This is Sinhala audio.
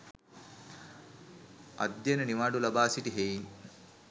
අධ්‍යයන නිවාඩු ලබා සිටි හෙයින්